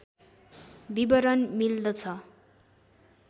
विवरण मिल्दछ